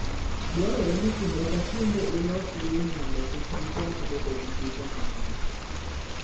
Dwarore ni kinde ka kinde ilos winy mondo kik gichak bedo gi kute mang'eny.